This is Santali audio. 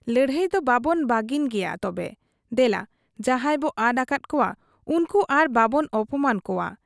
ᱞᱟᱹᱲᱦᱟᱹᱭ ᱫᱚ ᱵᱟᱵᱚᱱ ᱵᱟᱹᱜᱤᱱ ᱜᱮᱭᱟ ᱛᱚᱵᱮ, ᱫᱮᱞᱟ ᱡᱟᱦᱟᱸᱭ ᱵᱚ ᱟᱫ ᱟᱠᱟᱫ ᱠᱚᱣᱟ ᱩᱱᱠᱩ ᱟᱨ ᱵᱟᱵᱚᱱ ᱚᱯᱚᱢᱟᱱ ᱠᱚᱣᱟ ᱾